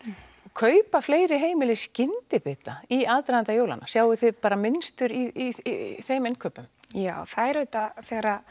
kaupa fleiri heimili skyndibita í aðdraganda jólanna sjáið þið mynstur í þeim innkaupum já það er auðvitað þegar